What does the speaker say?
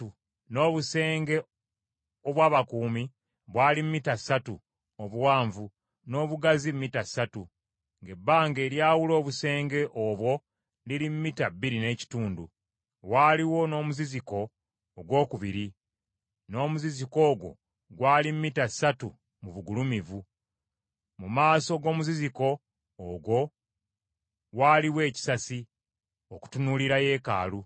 N’obusenge obw’abakuumi bwali mita ssatu obuwanvu, n’obugazi mita ssatu, ng’ebbanga eryawula obusenge obwo liri mita bbiri n’ekitundu. Waaliwo n’omuziziko ogwokubiri. N’omuziziko ogwo gwali mita ssatu mu bugulumivu. Mu maaso g’omuziziko ogwo waaliwo ekisasi okutunuulira yeekaalu.